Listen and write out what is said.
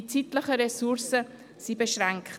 Die zeitlichen Ressourcen sind beschränkt.